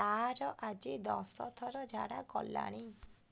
ତାର ଆଜି ଦଶ ଥର ଝାଡା କଲାଣି